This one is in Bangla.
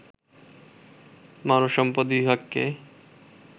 মানব সম্পদ বিভাগকে